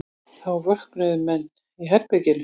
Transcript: Þá vöknuðu menn í herberginu.